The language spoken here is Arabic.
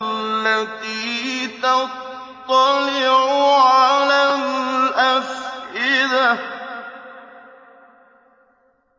الَّتِي تَطَّلِعُ عَلَى الْأَفْئِدَةِ